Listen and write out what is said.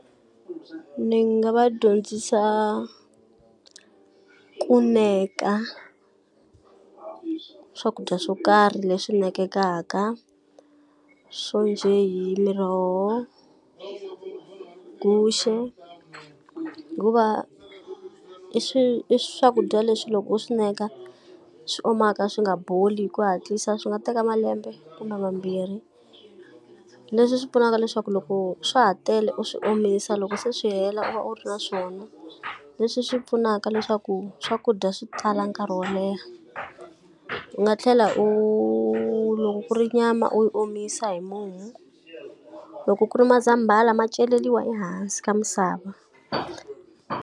Ni nga va dyondzisa ku neka ka swakudya swo karhi leswi nekekaka swo njhe hi miroho, guxe, hikuva i i swakudya leswi loko u swi neka swi omaka swi nga boli hi ku hatlisa, swi nga teka malembe kumbe mambirhi. Leswi swi pfunaka leswaku loko swa ha tele u swi omisa loko se swi hela u va u ri na swona, leswi swi pfunaka leswaku swakudya swi tala nkarhi wo leha. U nga tlhela u loko ku ri nyama u yi omisa hi mumu, loko ku ri mazambhana ma celeriwa ehansi ka misava.